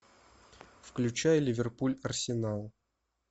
включай ливерпуль арсенал